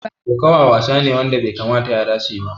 Koƙawa wasa ne wanda bai kamata yara su yi ba.